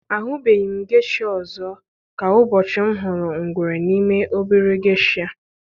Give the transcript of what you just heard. Ahụbeghị m geisha ọzọ ka ụbọchị m hụrụ ngwere n'ime obere geisha.